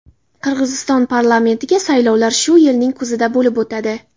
Qirg‘iziston parlamentiga saylovlar shu yilning kuzida bo‘lib o‘tadi.